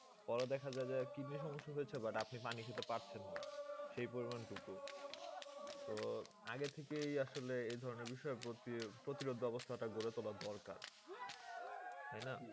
পরে দেখা যায় যে kidney র সমস্যা দেখা দিয়েছে but আপনি পানি খেতে পারছেন না সেই পরিমান টুকু। তো আগের থেকেই আসলে এই ধরনের বিষয় প্রতি~ প্রতিরোধ ব্যাবস্থা টা করে তোলা দরকার। তাই না?